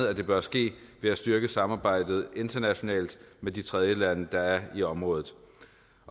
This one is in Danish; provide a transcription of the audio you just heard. at det bør ske ved at styrke samarbejdet internationalt med de tredjelande der er i området